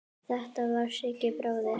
Þetta var Siggi bróðir.